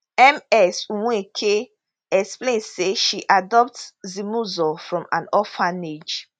ms nweke explain say she adopt zimuzo from an orphanage